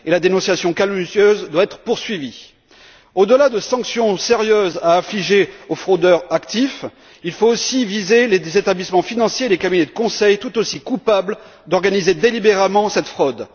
La dénonciation calomnieuse doit être poursuivie. Au delà de sanctions sérieuses à infliger aux fraudeurs actifs, il faut aussi viser les établissements financiers et les cabinets de conseil, tout aussi coupables d'organiser délibérément cette fraude.